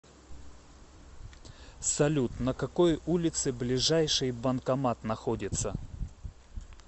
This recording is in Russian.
салют на какой улице ближайший банкомат находится